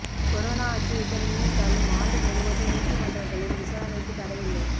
corona அச்சுறுத்தல் நீடித்தாலும் ஆண்டு முழுவதும் நீதிமன்றங்களில் விசாரணைக்கு தடை இல்லை